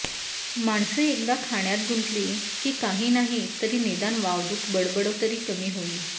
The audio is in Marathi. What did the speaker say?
माणसं एकदा खाण्यात गुंतली की काही नाही तरी निदान वावदूक बडबडतरी कमी होईल